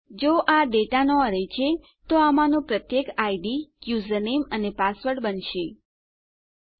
જો આ ડેટા નો અરે છે તો આમાંનું પ્રત્યેક આઈડી યુઝરનેમ અને પાસવર્ડ બનવા જઈ રહ્યું છે